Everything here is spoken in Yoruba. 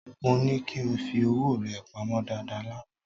Mó ní kí o fi owó rẹ pamọ́ dáadáa lánàá